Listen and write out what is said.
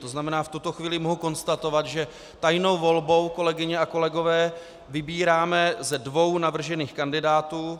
To znamená, v tuto chvíli mohu konstatovat, že tajnou volbou, kolegyně a kolegové, vybíráme ze dvou navržených kandidátů.